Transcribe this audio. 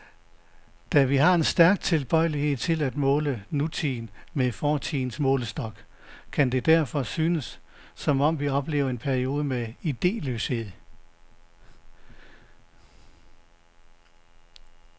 Da vi har en stærk tilbøjelighed til at måle nutiden med fortidens målestok, kan det derfor synes, som om vi oplever en periode med ideløshed.